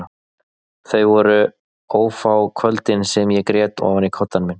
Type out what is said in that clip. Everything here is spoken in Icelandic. Þau voru ófá kvöldin sem ég grét ofan í koddann minn.